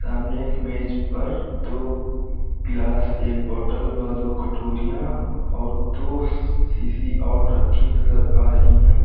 सामने एक मेज पर दो ग्लास एक बॉटल व दो कटोरियाँ और दो सीसी और रखी नजर आ रही हैं।